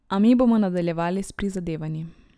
A mi bomo nadaljevali s prizadevanji.